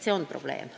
See on probleem.